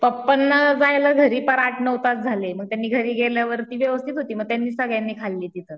पप्पाना जायला झाली पार आठ नऊ तास झाले मग त्यांनी घरी गेल्यावरती व्यवस्थित होती मग त्यांनी सगळ्यांनी खाल्ली ती.